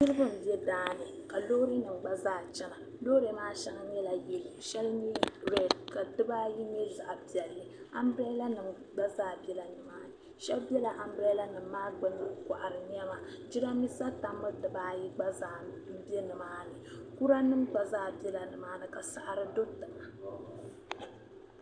niriba n be daani ka loori nim gba zaa chana loori maa shɛŋa nyɛla yellow shɛli mii red ka dibaayi nyɛ zaɣ'piɛlli anbrella nim gba zaa bela nimaani shabi bela anbrella nim maa gbuni n kɔɣiri nɛma jiramisa tambu dibaayi gba n be nimaani kuranim gba zaa bela nimaani ka saɣiri do ni.